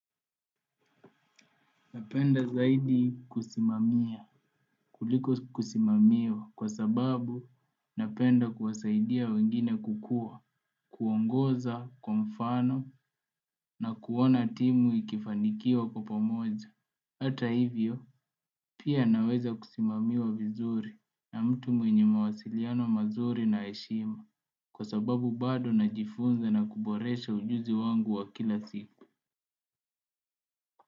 Napenda zaidi kusimamia kuliko kusimamiwa kwa sababu napenda kuwasaidia wengine kukua kuongoza kwa mfano na kuona timu ikifanikiwa kwa pomoja. Hata hivyo pia naweza kusimamiwa vizuri na mtu mwenye mawasiliano mazuri na heshima kwa sababu bado najifunza na kuboresha ujuzi wangu wa kila siku.